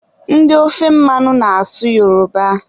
Ndị ofe mmanụ ana-asụ Yoroba